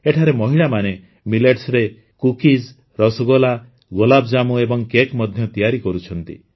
ଏଠାରେ ମହିଳାମାନେ ମିଲେଟ୍ସରେ କୁକିଜ୍ ରସଗୋଲା ଗୋଲାପଜାମୁ ଏବଂ କେକ୍ ମଧ୍ୟ ତିଆରି କରୁଛନ୍ତି